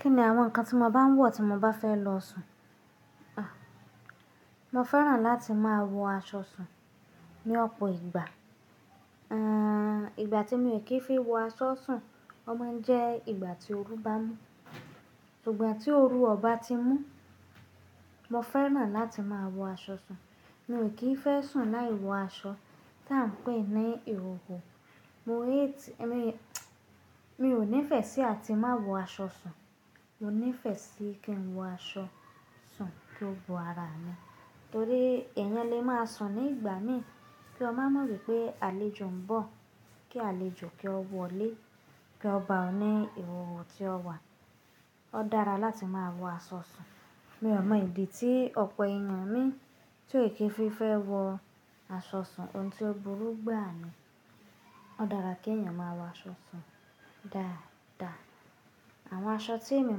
Kí ni àwọn nǹkan tí mo máa ń wọ̀ tí mo bá fẹ́ lọ sùn? Mo fẹ́ràn láti máa wọ aṣọ sùn ní ọ̀pọ̀ ìgbà. Àń, ìgbà tí mo kì í fi wọ aṣọ sùn, ó máa ń jẹ́ ìgbà tí oru bá mú. Ṣùgbọ́n tí oru ọ̀ bá ti mú, mo fẹ́ràn láti máa wọ aṣọ sùn. Mi o kì í fẹ́ sùn láì wọ aṣọ, tá ń pè é ní ihoho. Mo yé ti-- èmi, mo ò nífẹ̀ẹ́ sí àti má wọ aṣọ sùn. Mo nífẹ̀ẹ́ sí kí n wọ aṣọ sùn kí ó bo ara mi. Torí èèyàn lè máa sùn ní ìgbà mí, kí ọ má mọ̀ pé àlejò ń bọ̀. Kí àlejò kí ó wọlé, kí ó ba ẹ ní ihoho tí ó wà. Ó dára láti máa wọ aṣọ sùn. Mi ò mọ ìdí tí ọ̀pọ̀ èèyàn mií tí ò kí fi fẹ́ wọ aṣọ sùn, ohun tí ó burú gbàa ní. Ó dára kí èèyàn máa wọ aṣọ sùn dáadáa. Àwọn aṣọ tí èmi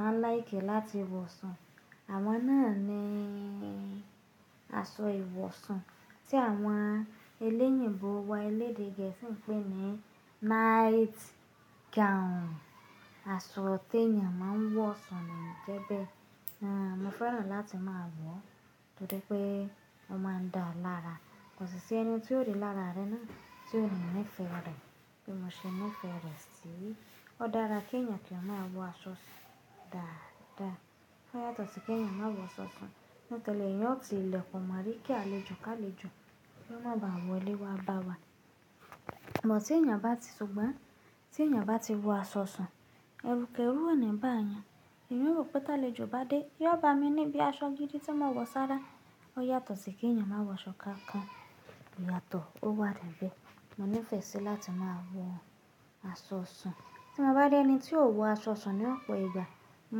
máa ń láìkì láti wọ sùn, àwọn náà ni aṣọ ìwọ̀sùn tí àwọn oloyinbo wa elédè gẹ̀ẹ́sì ń pè ní night gown. Aṣọ tí èèyàn máa ń wọ̀ sùn nii jẹ bẹ́ẹ̀. Àń, mo fẹ́ràn láti máa wọ̀ torí pé ó máa ń daa lára. Kò sì sí ẹni tí ó rí lára re naá, tí ò ní nífẹ̀ẹ́ rẹ̀. Bí mo ṣe nífẹ̀ẹ́ rẹ̀ sí. Ó dára kí èèyàn kí ó máa wọ aṣọ sùn dáadáa. Ó yàtọ̀ sí kí èèyàn má wọ aṣọ sùn. Nitori e, èèyàn ó ti ilẹ̀kùn mori kí àlejò kálejò, kí wọ́n má ba wọlé wá bá wa. Igba tí èèyàn bá ti sùgbọ́n tí èèyàn bá ti wọ aṣọ sùn, ẹrú kẹrú ò ní bá eeyan Emi rò pé tá lèjò bá dé, yóò ba mi ní bí aṣọ gidi tí mo wọ̀ sára. Ó yàtọ̀ sí kí èèyàn má wọ aṣọ kankan. Ìyàtọ̀ ó wà níbẹ̀. Mo nífẹ̀ẹ́ sí láti máa wọ aṣọ sùn. Tí mo bá rí ẹni tí ò wọ aṣọ sùn ní ọ̀pọ̀ ìgbà, mo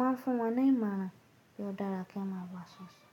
máa ń fún wọn ní ìmọ̀ràn pé ó dára kí wọ́n má wọ aṣọ sùn.